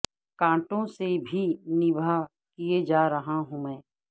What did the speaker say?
کانٹوں سے بھی نباہ کیے جا رہا ہوں میں